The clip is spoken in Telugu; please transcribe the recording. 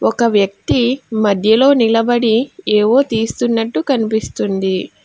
ఒక వ్యక్తి మధ్యలో నిలబడి ఏవో తీస్తున్నట్టు కన్పిస్తుంది.